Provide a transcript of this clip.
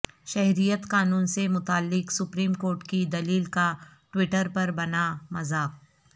شہریت قانون سے متعلق سپریم کورٹ کی دلیل کا ٹوئٹر پر بنا مذاق